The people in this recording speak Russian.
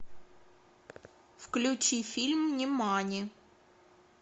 включи фильм нимани